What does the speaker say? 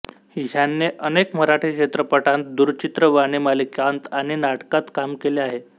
ह्याने अनेक मराठी चित्रपटांत दूरचित्रवाणी मालिकांत आणि नाटकात काम केले आहे